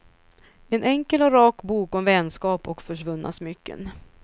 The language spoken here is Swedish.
En enkel och rak bok om vänskap och försvunna smycken.